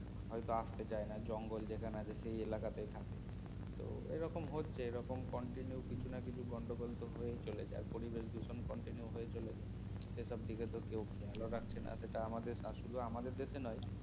হয়তো আসতে চায়না জঙ্গল যেখানে আছে সেই এলাকাতেই থাকে তো এরকম হচ্ছে এরকম continue কিছু না কিছু গন্ডগোল তো হয়েই চলেছে আর পরিবেশ দূষণ continue হয়ে চলেছে সেসব দিকে তো কেউ খেয়ালও রাখে না সেটা আমাদের শুধু আমাদের দেশেই নয়